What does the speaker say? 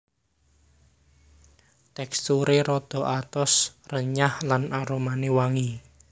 Teksturé rada atos renyah lan aromané wangi